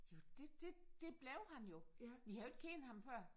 Jo det det det blev han jo. Vi har jo ikke kendt ham før